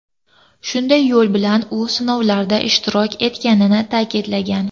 Shunday yo‘l bilan u sinovlarda ishtirok etganini ta’kidlagan.